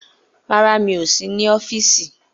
Rárá, mi ò sí ní ọ́fíìsì